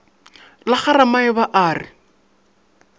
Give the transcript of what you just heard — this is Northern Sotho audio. la ga ramaeba a re